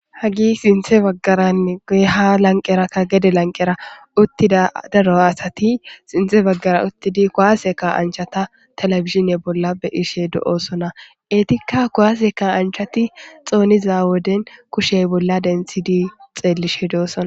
Hagi sinthe baggaranne goyha lanqerakka gede lanqera uttida daro asati sinthe baggara uttidi kowaaseka anchata telebishine bolla be ishe do7osonaeetikka kowaseka anchati xooniza woden kushey bolla dentshidi xeellishe doosona